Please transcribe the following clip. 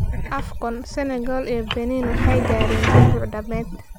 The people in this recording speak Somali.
Afcon: Senegal iyo Benin waxay gaareen rubuc-dhammeed.